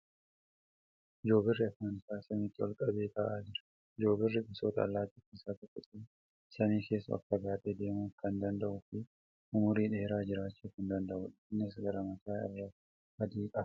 Joobirri afaan isaa samiitti ol qabee taa'aa jira. Joobirri gosoota allaattii keessaa tokko ta'ee samii keessa ol fagaatee deemuu kan danda'uu fi umurii dheeraa jiraachuu kan danda'uudha. Innis gara mataa irraa adii qaba.